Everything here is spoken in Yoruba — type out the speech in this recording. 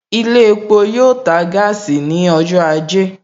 Ilé epo yoo ta gaasi ní ọjọ́ ajé